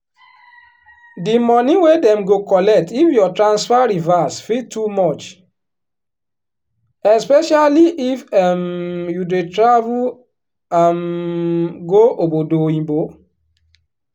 di money wey dem go collect if your transfer reverse fit too much especially if um you dey travel um go obodo oyinbo.